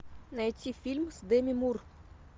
найти фильм с деми мур